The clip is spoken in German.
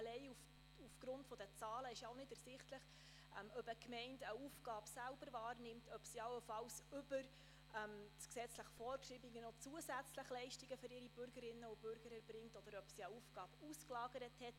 Allein aus den Zahlen ist nicht ersichtlich, ob eine Gemeinde eine Aufgabe selbst wahrnimmt, ob sie allenfalls über das gesetzlich Vorgeschriebene hinaus noch zusätzliche Leistungen für ihre Bürgerinnen und Bürger erbringt, oder ob sie eine Aufgabe ausgelagert hat.